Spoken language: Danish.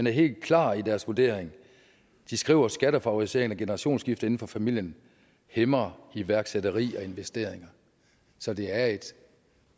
er helt klare i deres vurdering de skriver at skattefavorisering af generationsskifte inden for familien hæmmer iværksætteri og investeringer så det er et